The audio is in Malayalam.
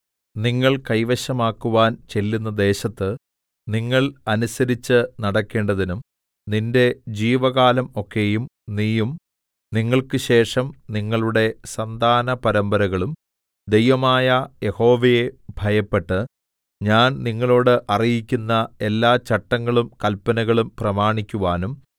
നിങ്ങൾ കൈവശമാക്കുവാൻ ചെല്ലുന്ന ദേശത്ത് നിങ്ങൾ അനുസരിച്ച് നടക്കേണ്ടതിനും നിന്റെ ജീവകാലം ഒക്കെയും നീയും നിങ്ങൾക്കുശേഷം നിങ്ങളുടെ സന്താനപരമ്പരകളും ദൈവമായ യഹോവയെ ഭയപ്പെട്ട് ഞാൻ നിങ്ങളോട് അറിയിക്കുന്ന എല്ലാ ചട്ടങ്ങളും കല്പനകളും പ്രമാണിക്കുവാനും